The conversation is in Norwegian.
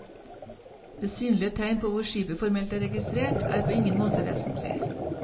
Det synlige tegn på hvor skipet formelt er registrert, er på ingen måte vesentlig.